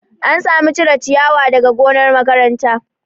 An samu cire ciyawa daga gonar makaranta